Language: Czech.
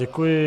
Děkuji.